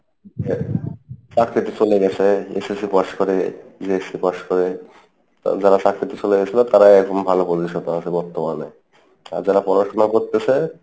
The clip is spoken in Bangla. চাকরি তো চলে গেছে SSC pass করে pass করে যারা চাকরি তে চলে গেছিলো তারাই এখন ভালো position এ আছে বর্তমানে আর যারা পড়াশোনা করতেসে